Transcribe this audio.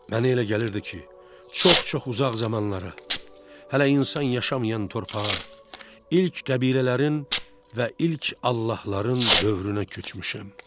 Mənə elə gəlirdi ki, çox-çox uzaq zamanlara, hələ insan yaşamayan torpağa, ilk qəbilələrin və ilk allahların dövrünə köçmüşəm.